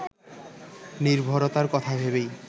নির্ভরতার কথা ভেবেই